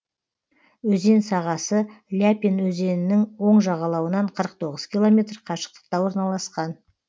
өзен сағасы ляпин өзенінің оң жағалауынан қырық тоғыз километр қашықтықта орналасқан